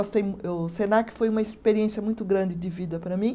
O Senac foi uma experiência muito grande de vida para mim.